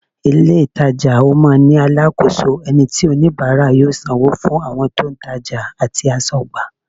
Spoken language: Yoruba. Ìlé-ìtajà máa ń ní alákòóso, ẹni tí oníbàárà yóò sanwó fún, àwọn tí wọ́n ń tajà àti aṣọ́gbà